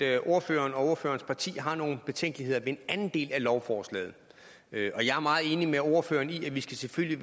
at ordføreren og ordførerens parti har nogle betænkeligheder ved en anden del af lovforslaget jeg er meget enig med ordføreren i at vi selvfølgelig